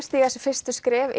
stíga sín fyrstu skref